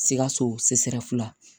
Sikaso la